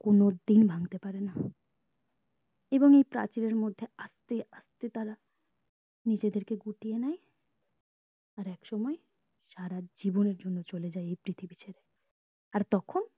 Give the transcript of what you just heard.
কোনোদিন ভাঙতে পারেনা এবং এই প্রাচীর আর মধ্যে আস্তে আস্তে তারা নিজেদের কে গুটিয়ে নেই আর এক সময় সারা জীবনের জন্য চলে যাই এই পৃথিবী ছেড়ে আর তখন